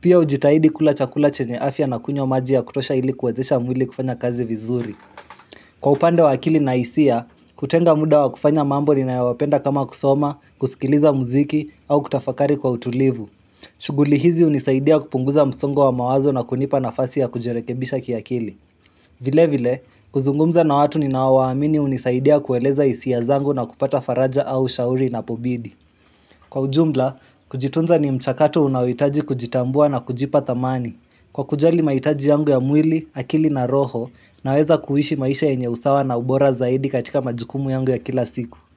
Pia ujitahidi kula chakula chenye afya na kunywa maji ya kutosha ilikuwezesha mwili kufanya kazi vizuri. Kwa upande wa akili na hisia, kutenga muda wa kufanya mambo ni nayo wapenda kama kusoma, kusikiliza muziki au kutafakari kwa utulivu. Shuguli hizi hunisaidia kupunguza msongo wa mawazo na kunipa nafasi ya kujerekebisha kiakili. Vile vile, kuzungumza na watu ninao waamini unisaidia kueleza hisia zangu na kupata faraja au shauri napo bidi. Kwa ujumla, kujitunza ni mchakato unaohitaji kujitambua na kujipa tamani. Kwa kujali maitaji yangu ya mwili, akili na roho na weza kuishi maisha yenye usawa na ubora zaidi katika majukumu yangu ya kila siku.